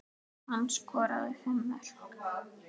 Hann skoraði fimm mörk.